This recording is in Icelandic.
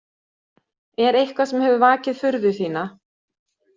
Er eitthvað sem hefur vakið furðu þína?